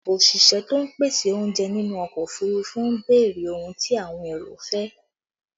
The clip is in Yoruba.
Òṣìṣẹ́ tó ń pèsè oúnjẹ nínú ọkọ òfurufú ń béèrè ohun tí àwọn èrò fẹ́